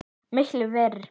Miklu verr.